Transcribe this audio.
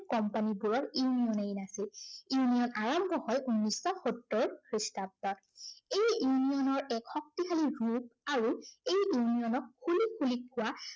company বোৰৰ union য়েই নাছিল। union ৰ আইন হল উনৈচশ সত্তৰ খ্ৰীষ্টাবদত। এই union ৰ এক শক্তিশালী group আৰু এই union ক খুলি খুলি খোৱা